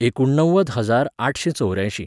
एकुणव्वद हजार आठशें चौऱ्यांशीं